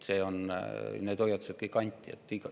Need hoiatused kõik anti.